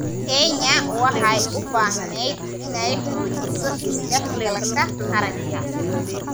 Kenya waxay u baahneyd inay xoojiso is dhexgalka qaranka.